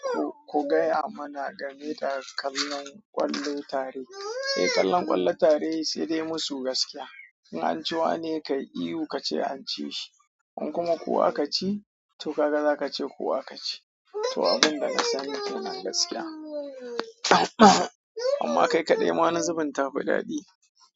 Ko ku gaya mana game da kallon ƙwallo tare. Eh, kallon ƙwallon tare sai dai musu gaskiya. In an ci wane ka yi ihu kace an ci shi, in kuma ku aka ci to kaga zaka ce ku aka ci. To abinda na sani kenan gaskiya. Amma kai kaɗai ma wani zubin ta fi daɗi.